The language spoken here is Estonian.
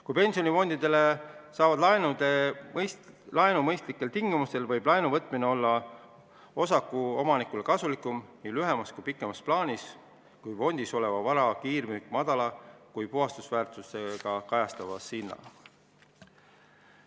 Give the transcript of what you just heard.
Kui pensionifondid saavad laenu mõistlikel tingimustel, võib laenu võtmine osakuomanikule olla nii lühemas kui pikemas plaanis kasulikum kui fondis oleva vara kiirmüük puhasväärtusest madalamaga hinnaga.